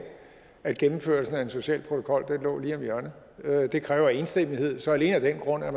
at gennemførelsen af en social protokol lå lige om hjørnet det kræver enstemmighed så alene af den grund er